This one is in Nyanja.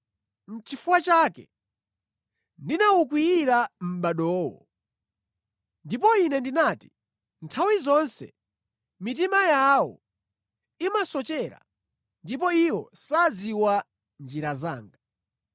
Nʼchifukwa chake ndinawukwiyira mʼbadowo, ndipo Ine ndinati, ‘Nthawi zonse mitima yawo imasochera, ndipo iwo sadziwa njira zanga.’